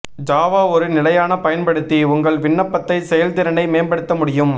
Java ஒரு நிலையான பயன்படுத்தி உங்கள் விண்ணப்பத்தை செயல்திறனை மேம்படுத்த முடியும்